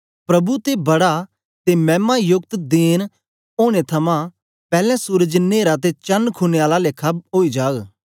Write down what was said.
प्रभु दे बड़ा ते मैमा योकत देन औने थमां पैलैं सूरज न्हेरा ते चण खूने आला लेखा ओई जाग